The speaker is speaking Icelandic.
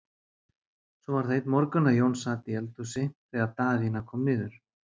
Svo var það einn morgun að Jón sat í eldhúsi þegar Daðína kom niður.